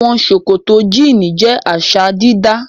Àwọn ṣòkòtò jíínì jẹ́ àṣà-dídá.